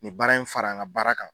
Nin baara in fara n ka baara kan.